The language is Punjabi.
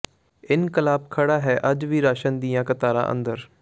ਇਨਕਲਾਬ ਖੜ੍ਹਾ ਹੈ ਅੱਜ ਵੀ ਰਾਸ਼ਨ ਦੀਆਂ ਕਤਾਰਾਂ ਅੰਦਰ